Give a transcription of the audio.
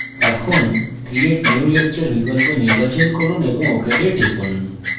এখন create new lecture বিকল্প নির্বাচন করুন এবং ok তে টিপুন